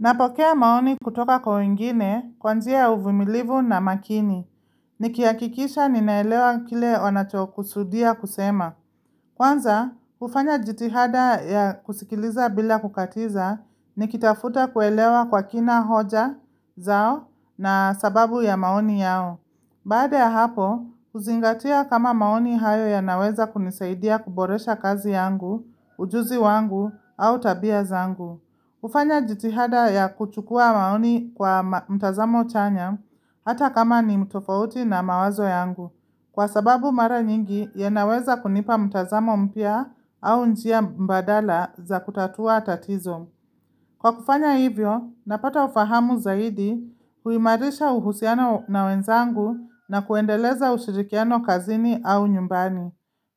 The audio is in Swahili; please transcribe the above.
Napokea maoni kutoka kwa wengine kwa njia uvumilivu na makini. Nikiakikisha ninaelewa kile wanacho kusudia kusema. Kwanza, ufanya jitihada ya kusikiliza bila kukatiza, nikitafuta kuelewa kwa kina hoja zao na sababu ya maoni yao. Baada ya hapo, kuzingatia kama maoni hayo ya naweza kunisaidia kuboresha kazi yangu, ujuzi wangu, au tabia zangu. Ufanya jitihada ya kuchukua maoni kwa mtazamo chanya hata kama ni mtofauti na mawazo yangu. Kwa sababu mara nyingi ya naweza kunipa mtazamo mpya au njia mbadala za kutatua tatizo. Kwa kufanya hivyo, napata ufahamu zaidi huimarisha uhusiano na wenzangu na kuendeleza ushirikiano kazini au nyumbani.